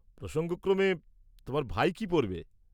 প্রসঙ্গক্রমে, তোমার ভাই কি পরবে?